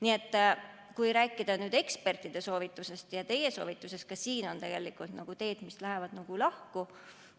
Nii et kui rääkida ekspertide soovitusest ja teie soovitusest, siis ka siin on teed, mis lähevad lahku.